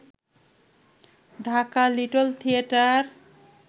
Dhaka little theatre